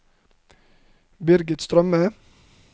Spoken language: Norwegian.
Birgit Strømme